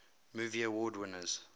movie award winners